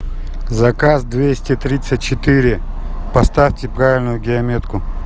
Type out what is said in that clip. заказ двести тридцать четыре поставьте правильную геометку